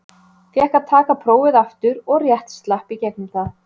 Fékk að taka prófið aftur og rétt slapp í gegnum það.